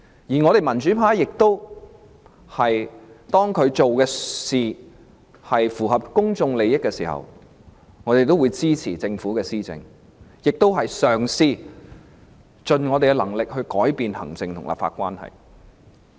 至於民主派，當特首所做的工作符合公眾利益，我們便會支持政府施政，我們亦盡力嘗試改變行政和立法關係。